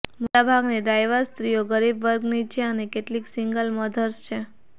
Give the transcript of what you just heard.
મોટાભાગની ડ્રાઇવર સ્ત્રીઓ ગરીબ વર્ગની છે અને કેટલી સિંગલ મધર્સ છે